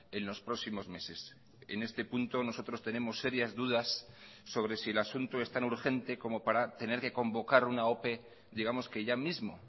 en los próximos meses en este punto nosotros tenemos serias dudas sobre si el asunto es tan urgente como para tener que convocar una ope digamos que ya mismo